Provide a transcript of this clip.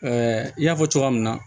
i y'a fɔ cogoya min na